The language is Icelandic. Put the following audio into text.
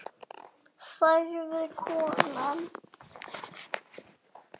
sagði konan.